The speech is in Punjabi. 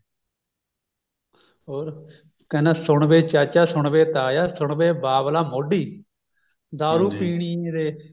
ਹੋਰ ਕਹਿੰਦਾ ਸੁਣ ਵੇ ਚਾਚਾ ਸੁਣ ਵੇ ਤਾਇਆ ਸੁਣ ਵੇ ਬਾਬਲਾ ਮੋਢੀ ਦਾਰੂ ਪੀਣੀ ਜੇ